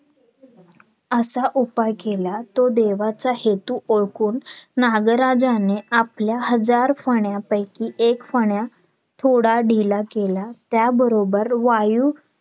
असा उपाय केला तो देवाचा हेतू ओळखून नागराजने आपल्या हजार फण्यांपैकी एक फण्या थोडा ढीला केला त्या बरोबर वायू